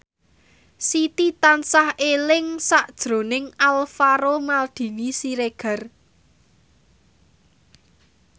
Siti tansah eling sakjroning Alvaro Maldini Siregar